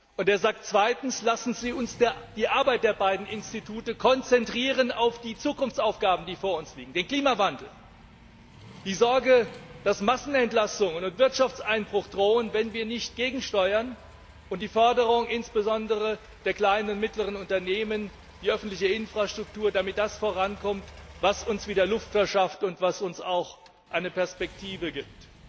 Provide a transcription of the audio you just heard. Und er sagt auch Lassen Sie uns die Arbeit der beiden Institute auf die vor uns liegenden Zukunftsaufgaben konzentrieren, also den Klimawandel, die Sorge, dass Massenentlassungen und Wirtschaftseinbruch drohen, wenn wir nicht gegensteuern, und die Forderung, insbesondere der kleinen und mittleren Unternehmen, nach öffentlicher Infrastruktur, damit das vorankommt, was uns wieder Luft verschafft und was uns auch eine Perspektive gibt.